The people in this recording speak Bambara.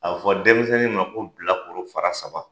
A fɔ denmisɛnnin ma ko bilakoro fara saba